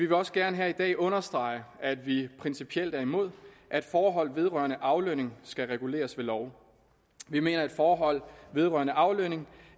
vil også gerne her i dag understrege at vi principielt er imod at forhold vedrørende aflønning skal reguleres ved lov vi mener at forhold vedrørende aflønning